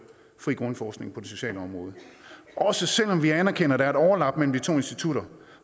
fri grundforskning på det sociale område også selv om vi anerkender at der er et overlap mellem de to institutter